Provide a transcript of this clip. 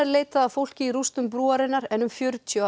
leitað að fólki í rústum brúarinnar en um fjörutíu